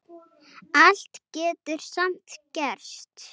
Allt getur samt gerst.